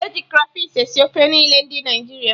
Eji krafish esi ofe niile ndị Naịjirịa